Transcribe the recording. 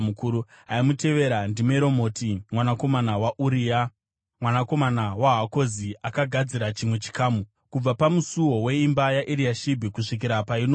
Aimutevera, ndiMeromoti mwanakomana waUria, mwanakomana waHakozi, akagadzira chimwe chikamu, kubva pamusuo weimba yaEriashibhi kusvikira painoguma.